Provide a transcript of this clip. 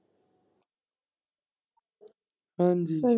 ਹਾਂਜੀ।